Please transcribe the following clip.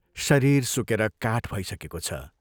शरीर सुकेर काठ भइसकेको छ।